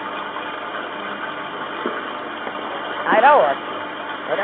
E o convívio de vocês, só as mulheres na casa? Ah, era ótimo! Era